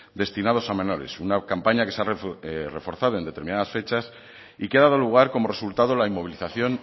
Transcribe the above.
destinados a menores una campaña que se ha reforzado en determinadas fechas y que ha dado lugar como resultado la inmovilización